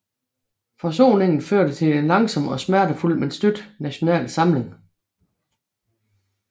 Forsoningen førte til en langsom og smertefuld men støt national samling